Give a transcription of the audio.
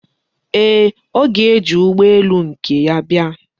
Ee, ọ ga-eji ụgbọ elu nke ya bịa.